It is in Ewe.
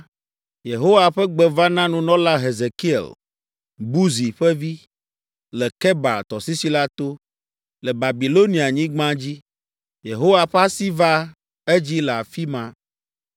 Yehowa ƒe gbe va na nunɔla Hezekiel, Buzi ƒe vi, le Kebar Tɔsisi la to, le Babilonianyigba dzi. Yehowa ƒe asi va edzi le afi ma.